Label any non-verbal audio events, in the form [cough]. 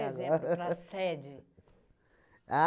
[laughs] para a sede.